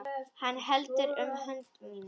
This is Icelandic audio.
Hann heldur um hönd mína.